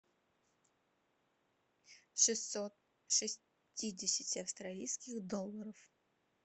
шестьсот шестидесяти австралийских долларов